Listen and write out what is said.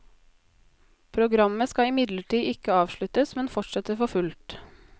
Programmet skal imidlertid ikke avsluttes, men fortsetter for fullt.